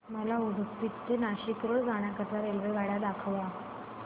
मला उडुपी ते नाशिक रोड जाण्या करीता रेल्वेगाड्या दाखवा